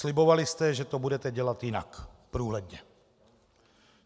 Slibovali jste, že to budete dělat jinak, průhledně.